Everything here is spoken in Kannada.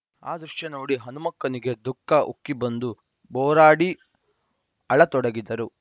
ಆ ದೃಶ್ಯ ನೋಡಿ ಹನುಮಕ್ಕನಿಗೆ ದುಖಃ ಉಕ್ಕಿಬಂದು ಭೋರಾಡಿ ಅಳತೊಡಗಿದರು